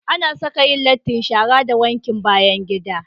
Ana Saka Yan latti shara da wankin bayan gida